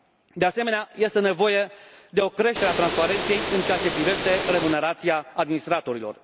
De asemenea, este nevoie de o creștere a transparenței în ceea ce privește remunerația administratorilor.